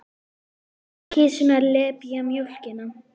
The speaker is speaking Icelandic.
Kisurnar lepja mjólkina.